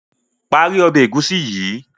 Parí Ọbẹ̀ egusi yi!